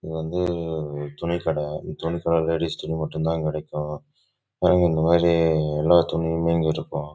இது வந்து துணி கடை இங்க வந்து எலாம்